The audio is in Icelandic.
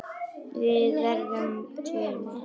Við verðum tveir með ykkur.